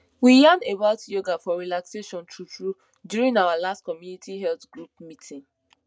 we yan about yoga for relaxation truetrue during our last community health group meeting